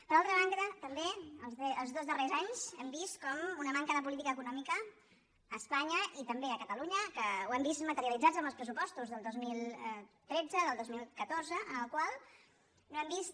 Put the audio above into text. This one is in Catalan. per altra banda també els dos darrers anys hem vist com una manca de política econòmica a espanya i també a catalunya que ho hem vist materialitzat en els pressupostos del dos mil tretze del dos mil catorze en els quals no hem vist